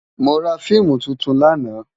Mó rá fiimú tútún làná